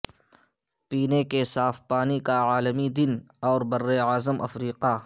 پینے کے صاف پانی کا عالمی دن اور براعظم افریقہ